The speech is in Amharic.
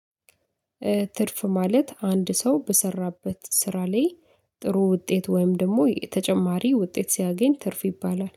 ትርፍ ማለት አንድ ሰው በሰራበት ስራ ላይ ጥሩ ውጤት ወይም ደግሞ ተጨማሪ ውጤት ሲያገኝ ትርፍ ይባላል።